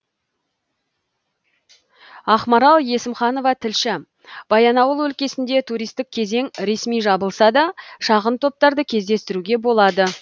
ақмарал есімханова тілші баянауыл өлкесінде туристік кезең ресми жабылса да шағын топтарды кездестіруге болады